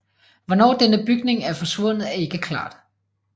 Hvornår denne bygning er forsvundet er ikke klart